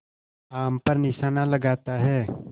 आम पर निशाना लगाता है